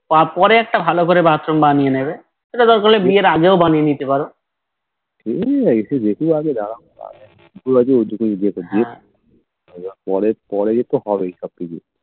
পরে একটা ভালো করে Bathroom বানিয়ে নিবে সেটা দরকার হলে বিয়ের আগেই বানিয়ে নিতে পারো